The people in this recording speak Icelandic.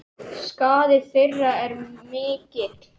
Skaði þeirra er mikill.